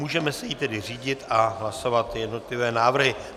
Můžeme se jí tedy řídit a hlasovat jednotlivé návrhy.